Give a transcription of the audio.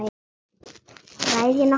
Ræð ég nokkru?